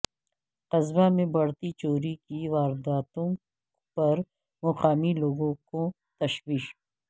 قصبہ میں بڑھتی چوری کی وارداتوں پر مقامی لوگوں کو تشویش